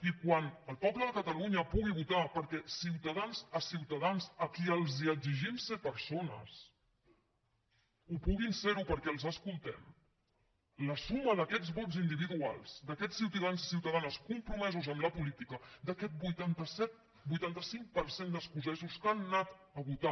i quan el poble de catalunya pugui votar perquè ciutadans a qui els exigim ser persones ho puguin ser perquè els escoltem la suma d’aquests vots individuals d’aquests ciutadans i ciutadanes compromesos amb la política d’aquest vuitanta cinc per cent d’escocesos que han anat a votar